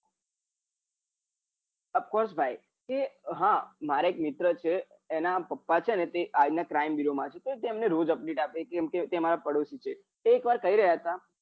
off course ભાઈ તે હ મારે એક મિત્ર છે એના પાપા છે તે આ રીત ના crime bureau માં છે તો તેમને રોઝ update આપે છે કમ કે તે મારા પાડોસી છે તો એક વાર કહી રહ્યા હતા